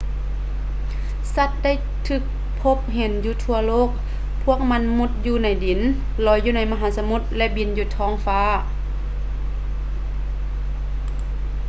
ສັດໄດ້ຖືກພົບເຫັນຢູ່ທົ່ວໂລກ ພວກມັນມຸດຢູ່ໃນດິນ ລອຍຢູ່ໃນມະຫາສະໝຸດ ແລະ ບິນຢູ່ທ້ອງຟ້າ